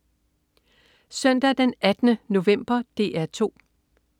Søndag den 18. november - DR 2: